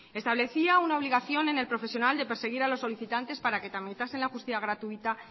establecía una obligación en el profesional de perseguir a los solicitantes para que tramitasen la justicia gratuita